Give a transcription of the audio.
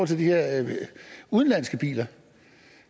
til de her udenlandske biler